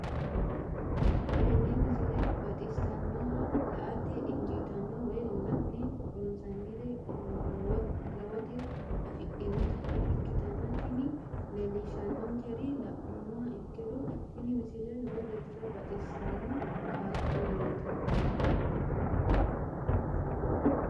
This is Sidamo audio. tenne misile baxisannonna la"ate injiitanno woy la'ne ronsannire lowote afidhinota ikkitanna tini leellishshannonkeri la'nummoha ikkiro tini misile lowo geeshsha baxisanno qaaqquulleeti.